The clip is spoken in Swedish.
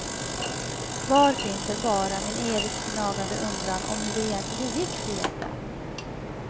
Kvar finns väl bara min evigt gnagande undran om hur det egentligen gick för gäddan.